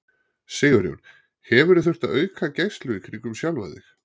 Sigurjón: Hefurðu þurft að auka gæslu í kringum sjálfa þig?